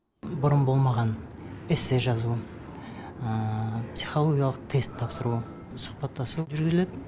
бұрын болмаған эссе жазу психологиялық тест тапсыру сұхбаттасу жүргізіледі